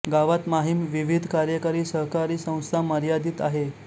गावात माहीम विविध कार्यकारी सहकारी संस्था मर्यादित आहे